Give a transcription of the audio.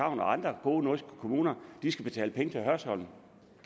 og andre gode nordjyske kommuner skal betale penge til hørsholm